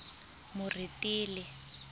moretele